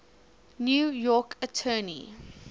new york attorney